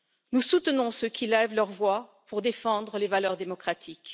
Nous soutenons ceux qui élèvent leurs voix pour défendre les valeurs démocratiques.